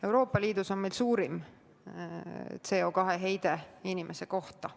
Euroopa Liidus on meil suurim CO2 heide inimese kohta.